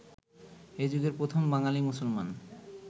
এযুগের প্রথম বাঙালি মুসলমান